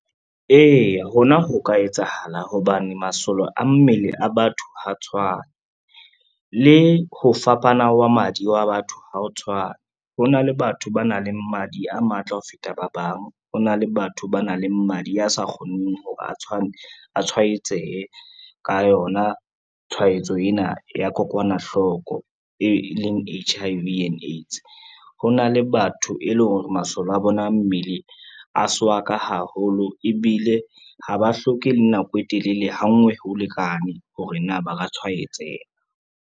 Eya ho na ho ka etsahala hobane masole a mmele a batho ha tshwane, le ho fapana wa madi wa batho ha o tshwane. Ho na le batho ba nang le madi a matla ho feta ba bang, ho na le batho ba nang le madi a sa kgoneng ho ba a tshwaetsehe ka yona tshwaetso ena ya kokwanahloko e leng H_I_V and AIDS. Ho na le batho e leng hore masole a bona a mmele a swaka haholo ebile ha ba hloke le nako e telele, ha nngwe ho lekane hore na ba ka tshwaetseha.